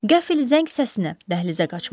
Qəfil zəng səsinə dəhlizə qaçmışdı.